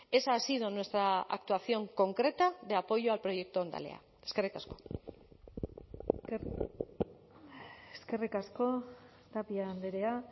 esa ha sido nuestra actuación concreta de apoyo al proyecto hondalea eskerrik asko eskerrik asko tapia andrea